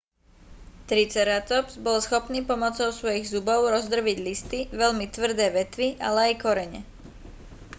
triceratops bol schopný pomocou svojich zubov rozdrviť listy veľmi tvrdé vetvy ale aj korene